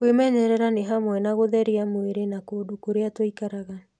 Kwĩmenyerera nĩ hamwe na gũtheria mwĩrĩ na kũndũ kũrĩa tũikaraga.